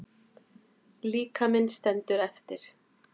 Líkaminn stendur eftir.